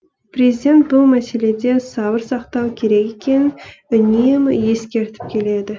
президент бұл мәселеде сабыр сақтау керек екенін үнемі ескертіп келеді